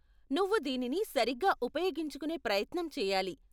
నువ్వు దీనిని సరిగ్గా ఉపయోగించుకునే ప్రయత్నం చెయ్యాలి.